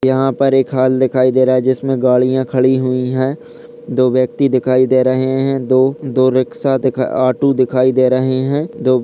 यहाँ पर एक हॉल दिखाई दे रहा है जिसमें गाड़िया खड़ी हुई है दो व्यक्ति दिखाई दे रहे हैं दो-दो रिक्शा दिखा ऑटो दिखाई दे रहे हैं दो--